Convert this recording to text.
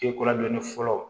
Ekolandonni fɔlɔ